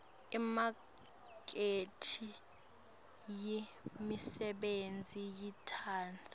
imakethe yemisebenti yetandla